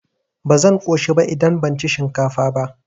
Ba zan ƙoshi ba idan ban ci shinkafa ba.